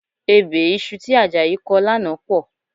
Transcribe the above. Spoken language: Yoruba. Ebè iṣu tí Àjàyí kọ lánàá pọ̀